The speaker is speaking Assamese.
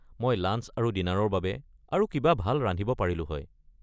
মই লাঞ্চ আৰু ডিনাৰৰ বাবে আৰু কিবা ভাল ৰান্ধিব পাৰিলো হয়।